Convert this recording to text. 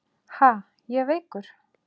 Ha, ég veikur!